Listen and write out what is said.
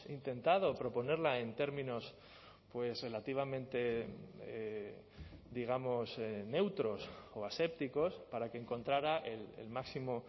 intentado proponerla en términos relativamente digamos neutros o asépticos para que encontrara el máximo